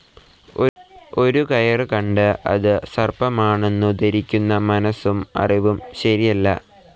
ഒരു കയറു കണ്ട്‍ അതു സർപ്പമാണെന്നു ധരിക്കുന്ന മനസും അറിവും ശരിയല്ല.